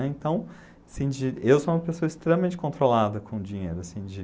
né? Então, assim de, eu sou uma pessoa extremamente controlada com o dinheiro., assim de